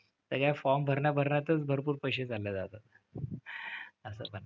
आता या form भरण्या भरण्यातच भरपूर पैसे चाललेत आता. असं पण.